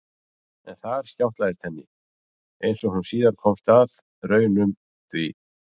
En þar skjátlaðist henni, einsog hún síðar komst að raun um, því